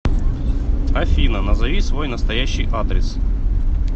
афина назови свой настоящий адрес